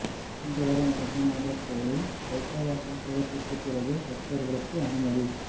சிங்கவரம் ரங்கநாதா் கோயிலில் சொா்க்க வாசல் திறப்புக்குப் பிறகு பக்தா்களுக்கு அனுமதி